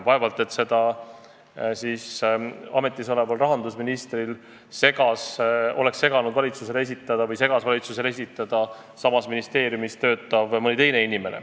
Vaevalt oleks see seganud ametis oleval rahandusministril seda süsteemi valitsusele esitada.